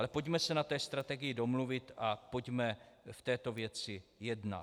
Ale pojďme se na té strategii domluvit a pojďme v této věci jednat.